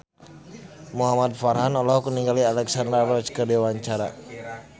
Muhamad Farhan olohok ningali Alexandra Roach keur diwawancara